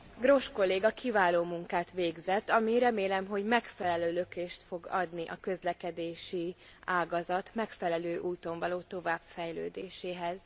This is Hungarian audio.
Grosch kolléga kiváló munkát végzett, ami remélem, hogy megfelelő lökést fog adni a közlekedési ágazat megfelelő úton való továbbfejlődéséhez.